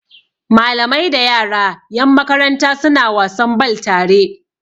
Malamai da yara yan makaranta suna wasan bal tare